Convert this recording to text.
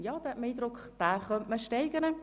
Man hat den Eindruck, dass man ihn steigern könnte.